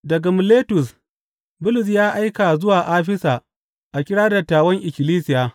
Daga Miletus, Bulus ya aika zuwa Afisa a kira dattawan ikkilisiya.